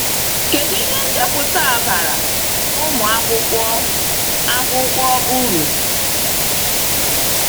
Kedu ihe nchọpụta a bara ụmụ akwụkwọ akwụkwọ uru?